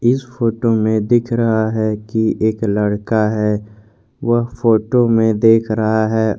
इस फोटो में दिख रहा है कि एक लड़का है वह फोटो में देख रहा है।